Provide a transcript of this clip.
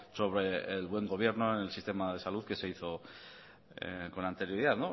sobre el buen gobierno en el sistema de salud que se hizo con anterioridad